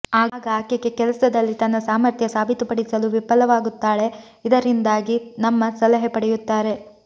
ಆಗ ಆಕೆಗೆ ಕೆಲಸದಲ್ಲಿ ತನ್ನ ಸಾಮರ್ಥ್ಯ ಸಾಬೀತುಪಡಿಸಲು ವಿಫಲವಾಗುತ್ತಾಳೆ ಇದರಿಂದಾಗಿ ನಮ್ಮ ಸಲಹೆ ಪಡೆಯುತ್ತಾರೆ